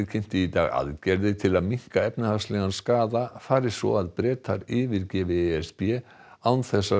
kynnti í dag aðgerðir til að minnka efnahagslegan skaða fari svo að Bretar yfirgefi e s b án þess að